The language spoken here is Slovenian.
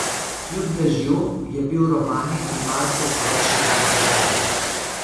Kljub dežju, je bil Romanin in Markov poročni dan popoln.